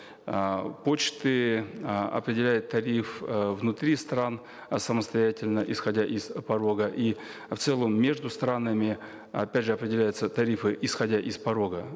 э почты э определяет тариф э внутри стран э самостоятельно исходя из порога и в целом между странами опять же определяются тарифы исходя из порога